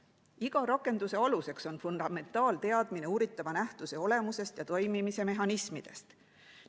Iga rakenduse aluseks on fundamentaalteadmine uuritava nähtuse olemusest ja toimimise mehhanismidest.